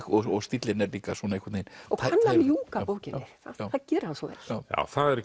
og stíllinn er líka einhvern veginn og kann að ljúka bókinni það gerir hann svo vel það